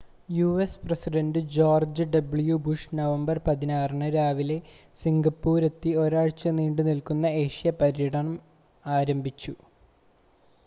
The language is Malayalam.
US president George W Bush November 16 ന് രാവിലെ സിംഗപ്പൂരിലെത്തി ഒരാഴ്ച നീണ്ടുനിൽക്കുന്ന ഏഷ്യ പര്യടനം ആരംഭിച്ചു